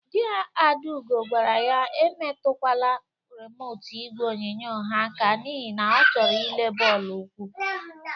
Di Adaugo gwara ya emetụkwala remotu igwe onyonyo ha aka n'ihi na ọ chọrọ ile bọọlụ ụkwụ!